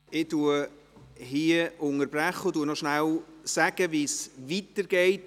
Ich unterbreche hier und sage noch kurz wie es weitergeht.